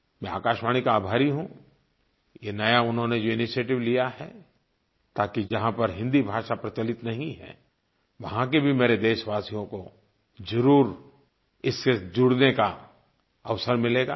मैं आकाशवाणी का आभारी हूँ ये नया उन्होंने जो इनिशिएटिव लिया है ताकि जहाँ पर हिंदी भाषा प्रचलित नहीं है वहाँ के भी मेरे देशवासियों को ज़रूर इससे जुड़ने का अवसर मिलेगा